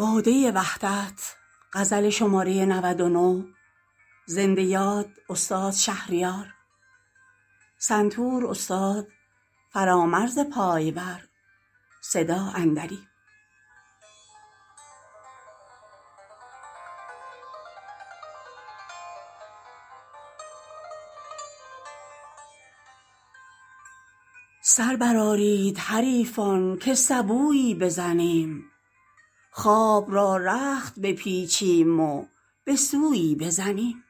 سر برآرید حریفان که سبویی بزنیم خواب را رخت بپیچیم و به سویی بزنیم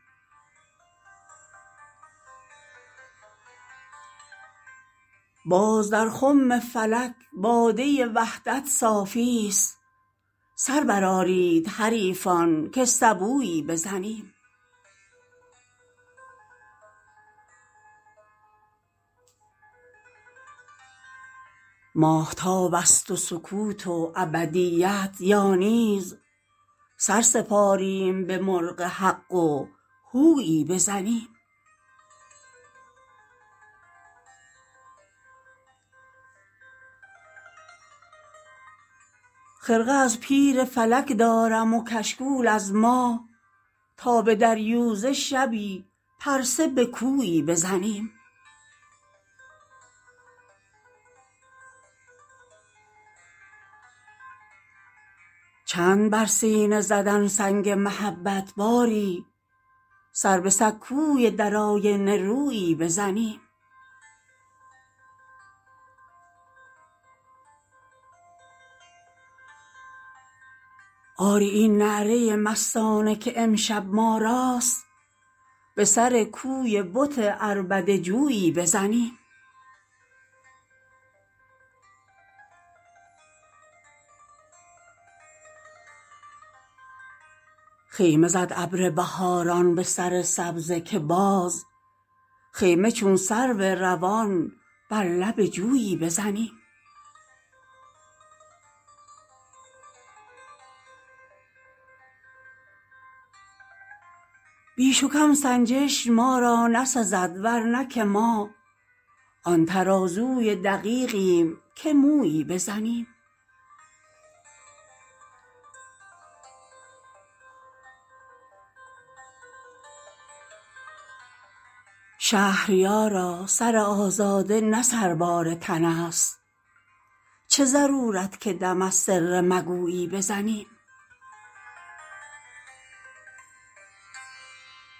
باز در خم فلک باده وحدت صافی است سر برآرید حریفان که سبویی بزنیم ماهتابست و سکوت و ابدیت یا نیز سر سپاریم به مرغ حق و هویی بزنیم خرقه از پیر فلک دارم و کشکول از ماه تا به دریوزه شبی پرسه به کویی بزنیم چند بر سینه زدن سنگ محبت باری سر به سکوی در آینه رویی بزنیم آری این نعره مستانه که امشب ما راست به سر کوی بت عربده جویی بزنیم خیمه زد ابر بهاران به سر سبزه که باز خیمه چون سرو روان بر لب جویی بزنیم رسم های کهن ابنای زمان نو کردند ما هم این خرقه بشوییم و اتویی بزنیم گو همه کوزه تهمت به سر ما شکنند ما نه آنیم که سنگی به کدویی بزنیم بیش و کم سنجش ما را نسزد ورنه که ما آن ترازوی دقیقیم که مویی بزنیم شهریارا سر آزاده نه سربار تن است چه ضرورت که دم از سر مگویی بزنیم